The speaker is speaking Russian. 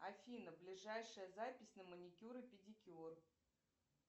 афина ближайшая запись на маникюр и педикюр